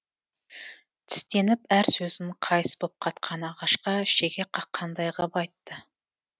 тістеніп әр сөзін қайыс боп қатқан ағашқа шеге қаққандай ғып айтты